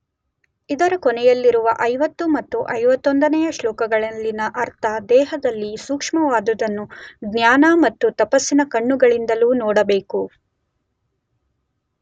ಇದರ ಕೊನೆಯಲ್ಲಿರುವ 50 ಮತ್ತು 51ನೆಯ ಶ್ಲೋಕಗಳಲ್ಲಿನ ಅರ್ಥ, ದೇಹದಲ್ಲಿ ಸೂಕ್ಷ್ಮವಾದುವನ್ನು ಜ್ಞಾನ ಮತ್ತು ತಪಸ್ಸಿನ ಕಣ್ಣುಗಳಿಂದಲೂ ನೋಡಬೇಕು.